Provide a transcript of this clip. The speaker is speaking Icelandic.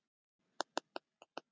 Aðgerðum lokið á vettvangi